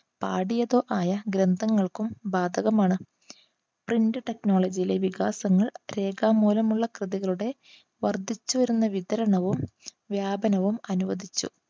ഗ്രന്ഥങ്ങൾക്കും ബാധകമാണ്. print technology വികാസങ്ങൾ രേഖാമൂലമുള്ള കൃതികളുടെ വർദ്ധിച്ചു വരുന്ന വിതരണവും, വ്യാപനവും അനുവദിച്ചു.